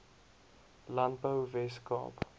landbou wes kaap